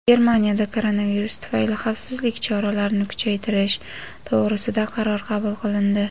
Germaniyada koronavirus tufayli xavfsizlik choralarini kuchaytirish to‘g‘risida qaror qabul qilindi.